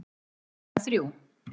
Klukkan þrjú